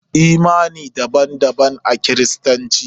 Imani daban daban a kiristanci.